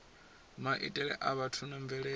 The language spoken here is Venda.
maitele a vhathu na mvelele